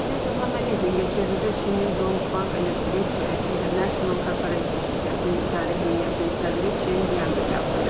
Prezident İlham Əliyev Mingəçevirdə Çinin Dongfang Electric International Corporation şirkətinin idarə heyətinin sədri Çen Qqı qəbul edib.